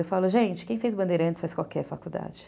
Eu falo, gente, quem fez Bandeirantes faz qualquer faculdade.